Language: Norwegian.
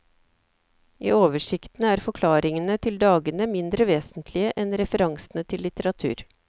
I oversikten er forklaringene til dagene mindre vesentlige enn referansene til litteratur.